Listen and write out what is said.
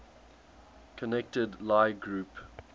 connected lie group